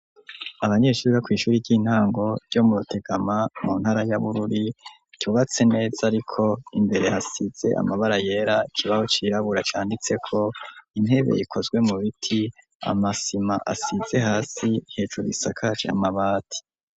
Abanyeshuri bo kw'ishuri ry'intango ryo mu rutegama mu ntara ya bururi cubatse neza ariko imbere hasize amabara yera kibaho cirabura cyanditse ko intebe ikozwe mu biti amasima asize hasi hejuru isakaje amabati.